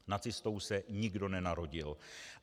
Nacistou se nikdo nenarodil.